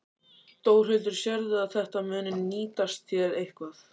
Þórhildur: Sérðu að þetta muni nýtast þér eitthvað?